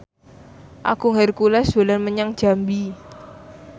Agung Hercules dolan menyang Jambi